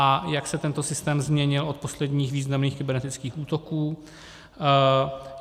A jak se tento systém změnil od posledních významných kybernetických útoků?